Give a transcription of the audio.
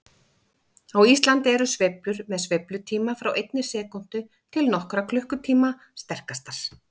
Á Íslandi eru sveiflur með sveiflutíma frá einni sekúndu til nokkurra klukkutíma sterkastar.